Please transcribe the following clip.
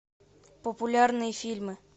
популярные фильмы